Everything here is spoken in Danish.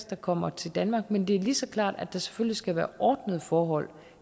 der kommer til danmark men det er lige så klart at der selvfølgelig skal være ordnede forhold